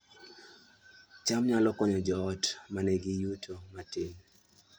cham nyalo konyo joot ma nigi yuto matin